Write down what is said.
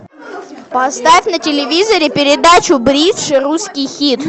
поставь на телевизоре передачу бридж русский хит